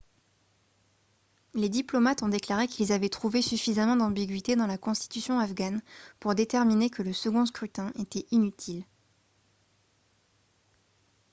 les diplomates ont déclaré qu'ils avaient trouvé suffisamment d'ambiguïté dans la constitution afghane pour déterminer que le second scrutin était inutile